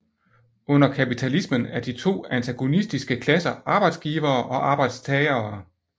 Under kapitalismen er de to antagonistiske klasser arbejdsgivere og arbejdstagere